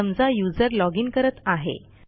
समजा युजर loginकरत आहे